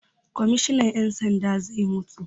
Kwammishinan 'yan sanda zai mutu.